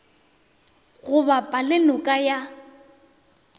go bapa le noka ya